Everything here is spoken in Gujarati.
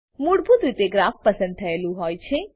મૂળભૂત રીતે ગ્રાફ પસંદ થયેલું હોય છે